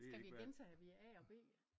Skal vi gentage vi er A og B?